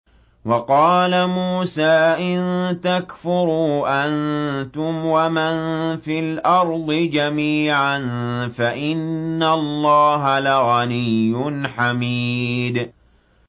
وَقَالَ مُوسَىٰ إِن تَكْفُرُوا أَنتُمْ وَمَن فِي الْأَرْضِ جَمِيعًا فَإِنَّ اللَّهَ لَغَنِيٌّ حَمِيدٌ